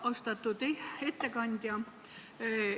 Austatud ettekandja!